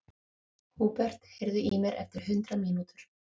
Húbert, heyrðu í mér eftir hundrað mínútur.